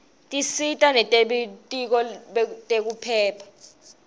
tisita nebelitiko letekiphepha